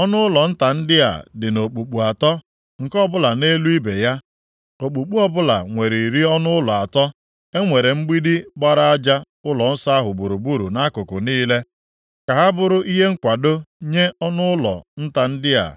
Ọnụụlọ nta ndị a dị nʼokpukpu atọ, nke ọbụla nʼelu ibe ya, okpukpu ọbụla nwere iri ọnụụlọ atọ. E nwere mgbidi gbara aja ụlọnsọ ahụ gburugburu nʼakụkụ niile, ka ha bụrụ ihe nkwado nye ọnụụlọ nta ndị a,